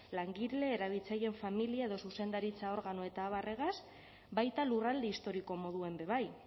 langile erabiltzaileen familia edo zuzendaritza organo eta abarregaz baita lurralde historiko moduan be bai